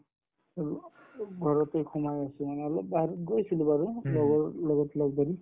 উব ঘৰতে সোমাই আছো মানে অলপ বাহিৰত গৈছিলো বাৰু লগৰ লগত লগ ধৰি